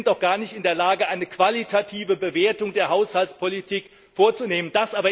Sie sind doch gar nicht in der Lage, eine qualitative Bewertung der Haushaltspolitik vorzunehmen.